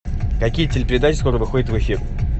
какие телепередачи скоро выходят в эфир